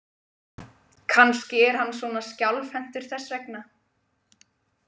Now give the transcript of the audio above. Kannski er hann svona skjálfhentur þess vegna.